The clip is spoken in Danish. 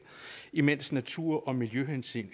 imens natur og miljøhensyn